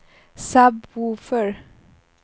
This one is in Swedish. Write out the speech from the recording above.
sub-woofer